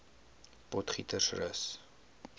potgietersrus